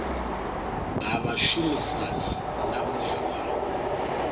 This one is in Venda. ha vhashumisani na muya wa